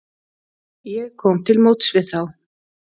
Ég kom til móts við þá.